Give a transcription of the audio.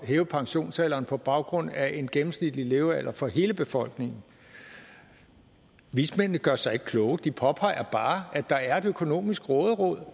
hæve pensionsalderen på baggrund af en gennemsnitlig levealder for hele befolkningen vismændene gør sig ikke kloge de påpeger bare at der er et økonomisk råderum